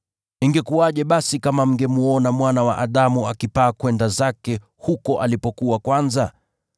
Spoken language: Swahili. Ingekuwaje basi kama mngemwona Mwana wa Adamu akipaa kwenda zake huko alipokuwa kwanza?